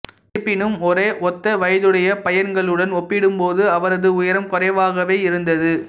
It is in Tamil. இருப்பினும் ஒரே ஒத்த வயதுடைய பையன்களுடன் ஒப்பிடும்போது அவரது உயரம் குறைவாகவே இருந்தது